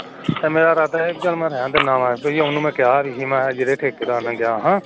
ਮੇਰਾ ਇਰਾਦਾ ਸੀ ਮੈ ਰਹਿਣ ਦੇਣਾ ਮੈ ਉਹਨੂੰ ਕਿਹਾ ਵੀ ਸੀ ਜਿਹੜੇ ਠੇਕੇਦਾਰ ਨਾਲ ਗਿਆ ਸਾਂ